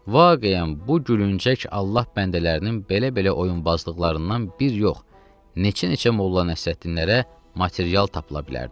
Vaqeyən bu gülüncək Allah bəndələrinin belə-belə oyunbazlıqlarından bir yox, neçə-neçə Molla Nəsrəddinlərə material tapıla bilərdi.